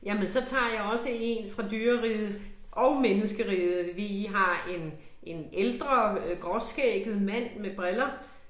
Jamen så tager jeg også en fra dyreriget og menneskeriget. Vi har en en ældre øh gråskægget mand med briller